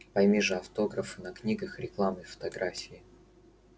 пойми же автографы на книгах рекламные фотографии